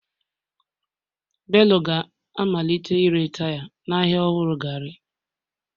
Bello ga-amalite ire taya n'ahịa ọhụrụ gari.